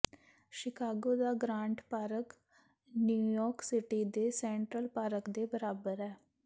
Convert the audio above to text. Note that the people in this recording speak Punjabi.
ਸ਼ਿਕਾਗੋ ਦਾ ਗ੍ਰਾਂਟ ਪਾਰਕ ਨਿਊਯਾਰਕ ਸਿਟੀ ਦੇ ਸੈਂਟਰਲ ਪਾਰਕ ਦੇ ਬਰਾਬਰ ਹੈ